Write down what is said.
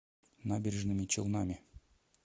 набережными челнами